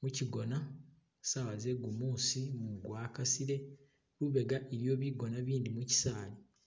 muchigona sawa zegumusi mumu gwakasile lubega iliyo bigona bindi muchisali.